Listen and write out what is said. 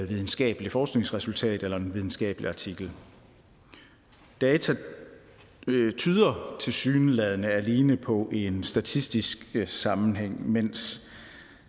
videnskabelige forskningsresultater eller en videnskabelig artikel data tyder tilsyneladende alene på en statistisk sammenhæng mens